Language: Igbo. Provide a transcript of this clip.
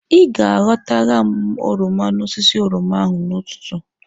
Ị ga aghọtara m oroma n'osisi oroma ahụ n'ụtụtụ.